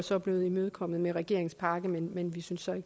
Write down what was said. så blevet imødekommet med regeringens pakke men vi synes så